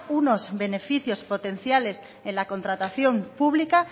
unos beneficios potenciales en la contratación pública